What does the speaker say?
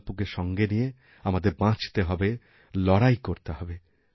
সঙ্কল্পকে সঙ্গে নিয়ে আমাদের বাঁচতে হবে লড়াইকরতে হবে